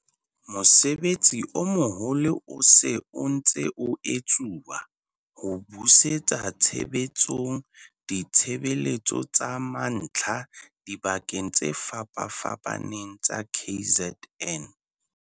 Mosebetsi o moholo o se o ntse o etsuwa ho busetsa tshebetsong ditshebeletso tsa mantlha dibakeng tse fapafapaneng tsa KZN.